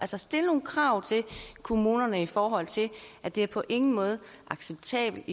så stille nogle krav til kommunerne i forhold til at det på ingen måde er acceptabelt